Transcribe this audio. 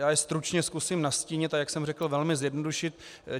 Já je stručně zkusím nastínit, a jak jsem řekl, velmi zjednodušit.